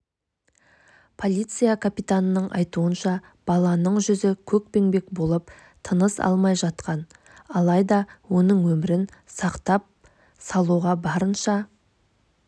полиция капитанының айтуынша баланың жүзі көкпеңбек болып тыныс алмай жатқан алайда оның өмірін сақтап салуға барынша